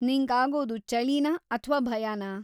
ನಿಂಗ್‌ ‌ಆಗೋದು ಚಳಿನಾ ಅಥ್ವಾ ಭಯಾನಾ?